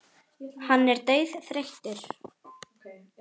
Hann er dauðþreyttur.